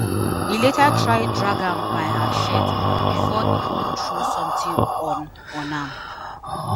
e later try drag am by her shirt bifor e come throw sometin on on am.